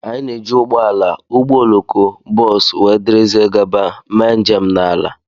Anyị na-eji ụgbọ ala, ụgbọ oloko, bọs, wdg mee njem n'ala.